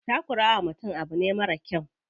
Takura wa mutum abu ne marar kyau.